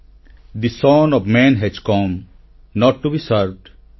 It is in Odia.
the son of man has come not to be served